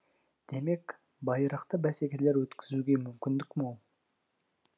демек байрақты бәсекелер өткізуге мүмкіндік мол